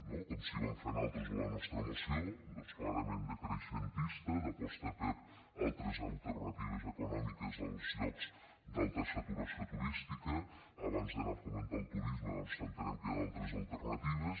no com sí que vam fer nosaltres en la nostra moció clarament decreixentista d’aposta per altres alternatives econòmiques als llocs d’alta saturació turística abans d’anar a fomentar el turisme doncs entenem que hi ha d’altres alternatives